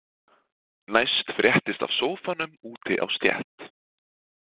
Næst fréttist af sófanum úti á stétt.